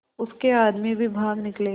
उसके आदमी भी भाग निकले